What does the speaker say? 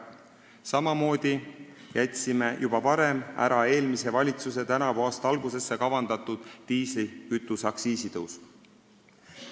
Samamoodi jätsime juba varem ära eelmise valitsuse tänavuse aasta algusesse kavandatud diislikütuse aktsiisi tõusu.